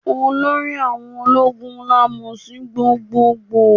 Olórí àwọn ológun la mo sí gbogboogbò.